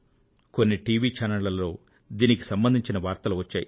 కొన్ని టీవీ ఛానళ్లలో దీనికి సంబంధించిన వార్తలు వచ్చాయి